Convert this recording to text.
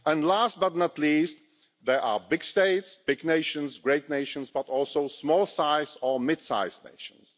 Last, but not least, there are big states, big nations, great nations, but also small or midsize nations.